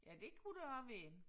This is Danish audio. Ja det kunne det også være